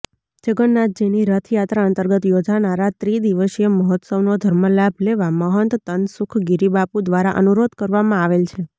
જગન્નનાથજીની રથયાત્રા અંતર્ગત યોજાનારા ત્રિદિવસીય મહોત્સવનો ધર્મ લાભ લેવા મહંત તનસુખગીરીબાપુ દ્વારાઅનુરોધ કરવામાં આવેલ છે